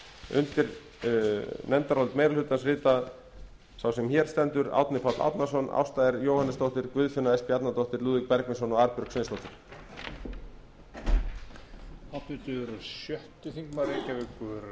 undir nefndarálit meiri hlutans rita sá sem hér stendur árni páll árnason ásta r jóhannesdóttir guðfinna s bjarnadóttir lúðvík bergvinsson og arnbjörg sveinsdóttir